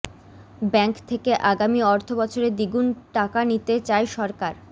bank থেকে আগামী অর্থবছরে দ্বিগুণ টাকা নিতে চায় সরকার